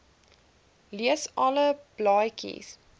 lees alle blaadjies